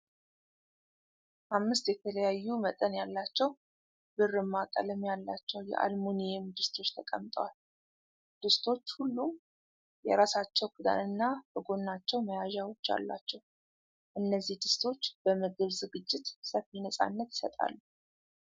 አምስት የተለያዩ መጠን ያላቸው ብርማ ቀለም ያላቸው የአልሙኒየም ድስቶች ተቀምጠዋል። ድስቶች ሁሉም የራሳቸው ክዳንና በጎናቸው መያዣዎች አሏቸው። እነዚህ ድስቶች በምግብ ዝግጅት ሰፊ ነፃነት ይሰጣሉ።